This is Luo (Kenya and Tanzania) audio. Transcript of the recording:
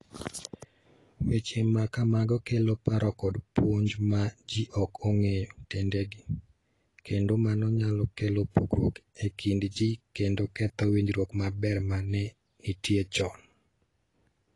Weche ma kamago kelo paro kod puonj ma ji ok ong'eyo tiendgi, kendo mano nyalo kelo pogruok e kind ji kendo ketho winjruok maber ma ne nitie chon.